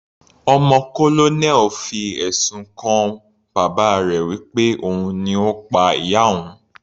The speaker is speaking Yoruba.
Ọmọ colonel fi ẹ̀sùn kan bàbá rẹ̀ wí pé òun ni Ó pa ìyá òun.